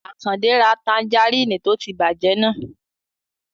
Àkàndé ra tanjarínnì tó ti bàjẹ́ náà